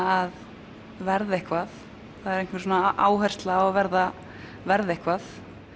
að verða eitthvað það er einhver áhersla á að verða verða eitthvað